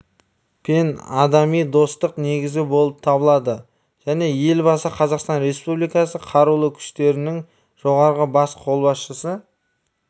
пен адами достықтың негізі болып табылады және елбасы қазақстан республикасы қарулы күштерінің жоғарғы бас қолбасшысы